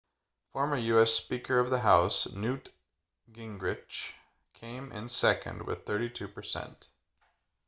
former u.s. speaker of the house newt gingrich came in second with 32%